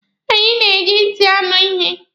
Anyị na-eji ntị anọ ihe.